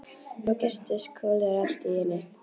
Þá birtist Kolur allt í einu.